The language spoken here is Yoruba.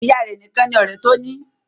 Ìyá a rẹ̀ nìkan ni ọ̀rẹ́ tó ní.